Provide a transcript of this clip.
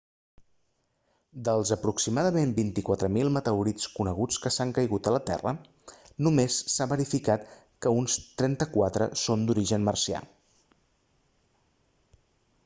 dels aproximadament 24.000 meteorits coneguts que han caigut a la terra només s'ha verificat que uns 34 són d'origen marcià